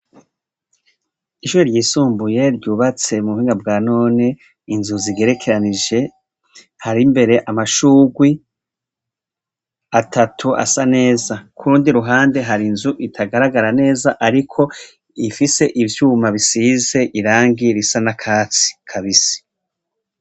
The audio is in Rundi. ishure ryisumbuye ryubatse mu buhinga bwa none inzu zigerekeranije hari mbere amashurwe atatu asa neza kurundi ruhande hari nzu itagaragara neza ariko ifise ivyuma bisize irangi risa n'akatsi kabisi